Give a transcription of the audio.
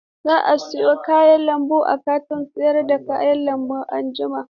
Zan sayo kayan lambu a kantin sayar da kayan lambu anjima.